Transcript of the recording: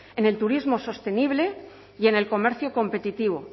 en el turismo sostenible y en el comercio competitivo